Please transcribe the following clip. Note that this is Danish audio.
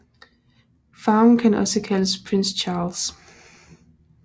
Farven kan også kaldes Prince Charles